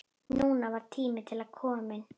Núna var tími til kominn.